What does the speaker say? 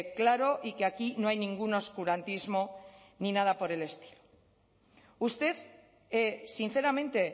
claro y que aquí no hay ningún oscurantismo ni nada por el estilo usted sinceramente